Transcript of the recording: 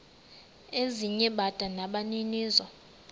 ezinye bada nabaninizo